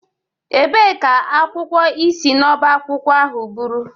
Ebee ka akwụkwọ ị si n'ọbá akwụkwọ ahụ buru?